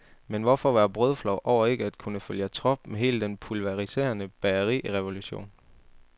Men hvorfor være brødflov over ikke at kunne følge trop med hele den pulveriserende bagerirevolution.